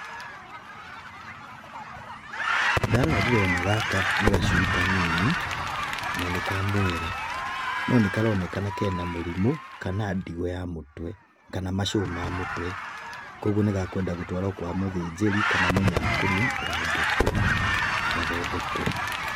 Ndarora ndĩrona gaka nĩ gacui kanini na nĩ kamwera, nonĩ karonekana kena mũrimũ kana ndigũ ya mũtwe, kana macũ ma mũtwe. Kuoguo nĩ gekwenda gũtwarwo kwa mũthĩnjĩri kana mũcakoni wa ngũkũ gathondekwo.